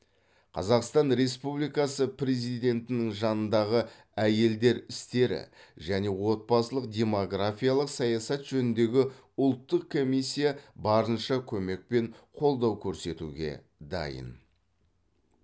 қазақстан республикасы президентінің жанындағы әйелдер істері және отбасылық демографиялық саясат жөніндегі ұлттық комиссия барынша көмек пен қолдау көрсетуге дайын